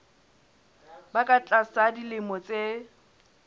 ba ka tlasa dilemo tse